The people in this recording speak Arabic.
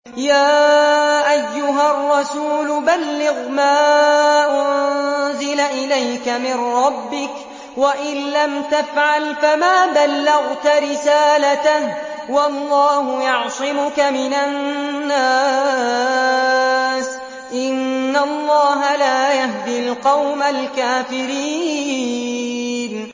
۞ يَا أَيُّهَا الرَّسُولُ بَلِّغْ مَا أُنزِلَ إِلَيْكَ مِن رَّبِّكَ ۖ وَإِن لَّمْ تَفْعَلْ فَمَا بَلَّغْتَ رِسَالَتَهُ ۚ وَاللَّهُ يَعْصِمُكَ مِنَ النَّاسِ ۗ إِنَّ اللَّهَ لَا يَهْدِي الْقَوْمَ الْكَافِرِينَ